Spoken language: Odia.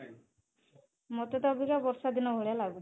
ମତେ ତ ଅବିକା ବର୍ଷା ଦିନ ଭଳିଆ ଲାଗୁଛି